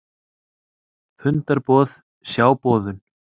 Fundarboð, sjá boðun